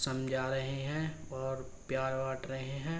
समझा रहे है और प्यार बाॅट रहे है।